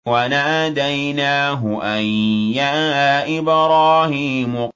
وَنَادَيْنَاهُ أَن يَا إِبْرَاهِيمُ